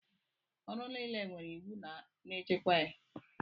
Ọrụ niile nwere iwu na-echekwa ya.